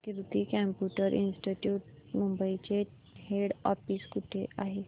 कीर्ती computer institute Mumbai चे head office कुठे आहे